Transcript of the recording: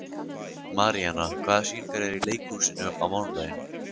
Marían, hvaða sýningar eru í leikhúsinu á mánudaginn?